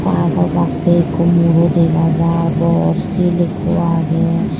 baa po pastey ekko muro dega jaar bor sil ekko agey.